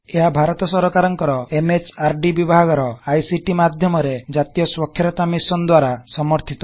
ଏହା ଭାରତ ସରକାରକଂର M H R D ବିଭାଗର ଆଇ ସି ଟି ମାଧ୍ୟମରେ ଜ଼ାତୀୟ ସ୍ବାଖ୍ୟରତା ମିଶନ୍ ଦ୍ବାରା ସମର୍ଥିତ